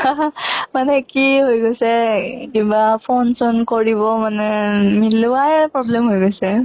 মানে কি হৈ গৈছে কিবা phone চন কৰিব মানে মিলোৱাই problem হৈ গৈছে।